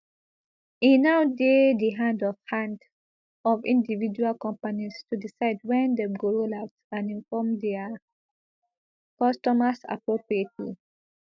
e now dey di hand of hand of individual companies to decide wen dem go roll out and inform dia customers appropriately